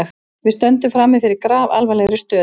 Við stöndum frammi fyrir grafalvarlegri stöðu